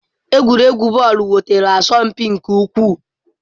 Egwuregwu bọọlụ enwetala asọmpi nke ukwuu.